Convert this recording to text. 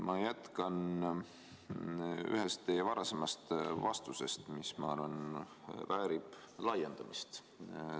Ma jätkan ühest teie varasemast vastusest, mis, ma arvan, väärib laiendamist.